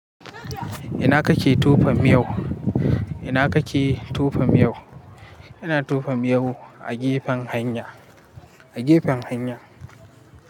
Ina kake tofa miyau? Ina kake tufam yau? Ina tufam yau a gefen hanya, a gefen hanya.